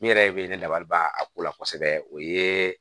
Min yɛrɛ be ne labɔ a ko la kosɛbɛ o ye